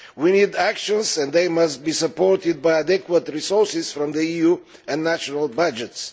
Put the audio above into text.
We need actions and they must be supported by adequate resources from the EU and national budgets.